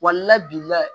bi layɛ